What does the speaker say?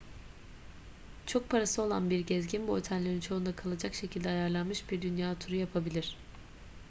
çok parası olan bir gezgin bu otellerin çoğunda kalacak şekilde ayarlanmış bir dünya turu yapabilir